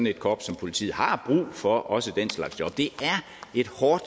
et korps som politiet har brug for også den slags job det er et hårdt